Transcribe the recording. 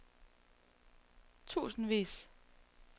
tusindvis